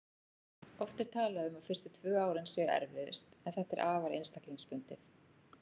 Oft er talað um að fyrstu tvö árin séu erfiðust en þetta er afar einstaklingsbundið.